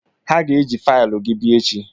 Ha ga-eji faịlụ gị bịa echi.